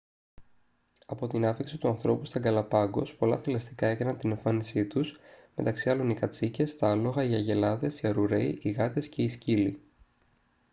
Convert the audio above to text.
από την άφιξη του ανθρώπου στα γκαλαπάγκος πολλά θηλαστικά έκαναν την εμφάνισή τους μεταξύ άλλων οι κατσίκες τα άλογα οι αγελάδες οι αρουραίοι οι γάτες και οι σκύλοι